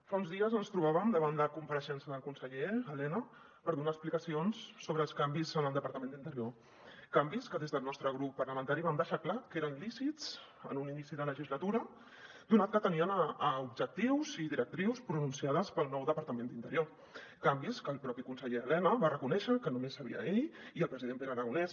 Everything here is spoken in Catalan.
fa uns dies ens trobàvem davant la compareixença del conseller elena per donar explicacions sobre els canvis en el departament d’interior canvis que des del nostre grup parlamentari vam deixar clar que eren lícits en un inici de legislatura donat que tenien objectius i directrius pronunciades pel nou departament d’interior canvis que el propi conseller elena va reconèixer que només sabien ell i el president pere aragonès